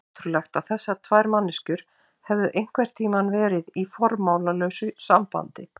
Ótrúlegt að þessar tvær manneskjur hefðu einhvern tíma verið í formálalausu sambandi.